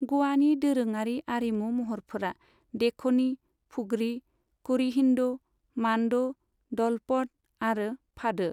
ग'वानि दोरोङारि आरिमु महरफोरा देखनि, फुगड़ी, करिडिन्हो, मान्डो, डलपड आरो फादो।